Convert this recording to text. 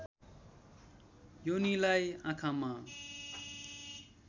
योनिलाई आँखामा